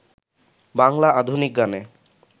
বাংলা আধুনিক গানে